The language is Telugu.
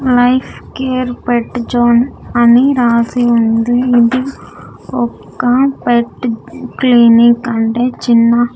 లైఫ్ కేర్ పేట్ జోన్ అని రాసి ఉంది. ఇది ఒక పేట్ క్లినిక్ అంటే చిన్న --